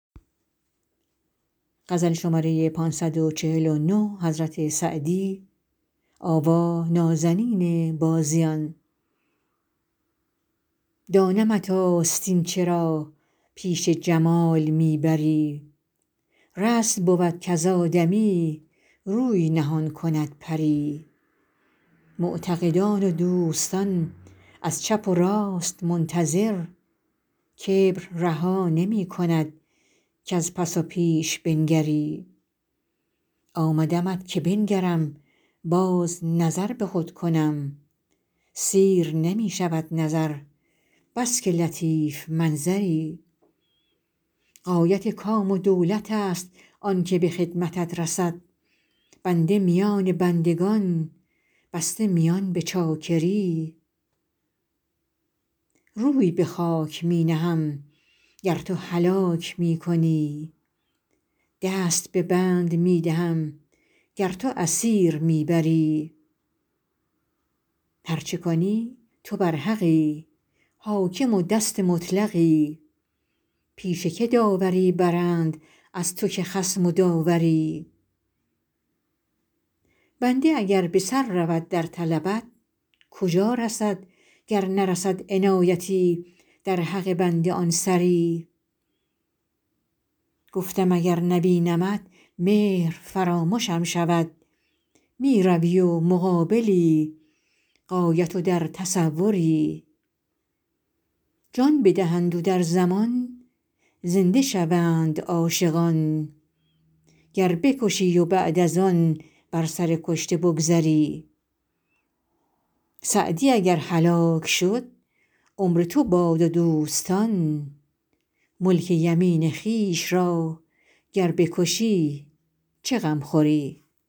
دانمت آستین چرا پیش جمال می بری رسم بود کز آدمی روی نهان کند پری معتقدان و دوستان از چپ و راست منتظر کبر رها نمی کند کز پس و پیش بنگری آمدمت که بنگرم باز نظر به خود کنم سیر نمی شود نظر بس که لطیف منظری غایت کام و دولت است آن که به خدمتت رسید بنده میان بندگان بسته میان به چاکری روی به خاک می نهم گر تو هلاک می کنی دست به بند می دهم گر تو اسیر می بری هر چه کنی تو برحقی حاکم و دست مطلقی پیش که داوری برند از تو که خصم و داوری بنده اگر به سر رود در طلبت کجا رسد گر نرسد عنایتی در حق بنده آن سری گفتم اگر نبینمت مهر فرامشم شود می روی و مقابلی غایب و در تصوری جان بدهند و در زمان زنده شوند عاشقان گر بکشی و بعد از آن بر سر کشته بگذری سعدی اگر هلاک شد عمر تو باد و دوستان ملک یمین خویش را گر بکشی چه غم خوری